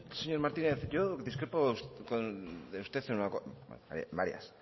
señor martínez yo discrepo de usted en una cosa a ver varias